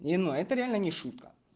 не ной это реально не шутка